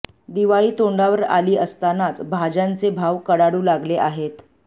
दिवाळी तोंडावर आली असतानाच भाज्यांचे भाव कडाडू लागले आहेत